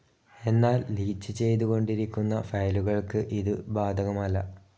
എന്നാൽ ലീച്ച്‌ ചെയ്തു കൊണ്ടിരിക്കുന്ന ഫയലുകൾക്കു ഇതു ബാധകമല്ല.